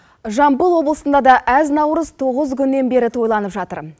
жамбыл облысында да әз наурыз тоғыз күннен бері тойланып жатыр